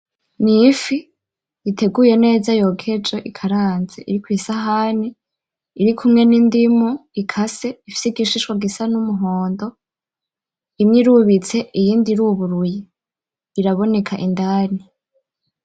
Ni ifi iteguye neza yokeje ikaranze iri kwisahani irikumwe n'indimu ikase ifise igishishwa gisa n'umuhondo, imwe irubitse iyindi iruguruye iraboneka indani.